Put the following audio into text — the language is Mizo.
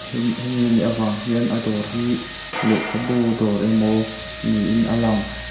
he hemi anih avang hian a dawr hi lehkhabu dawr emaw niin a lang.